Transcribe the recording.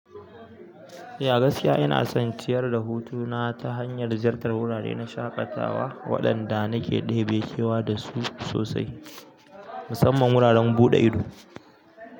Eh, a gaskiya ina son ciyar da hutu na ta hanyar ziyartar wurare na shaƙatawa waɗanda nake ɗebe kewa da su sosai, musamman wuraren buɗe ido.